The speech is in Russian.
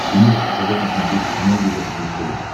ты можешь показать на смотрешке канал европа плюс тв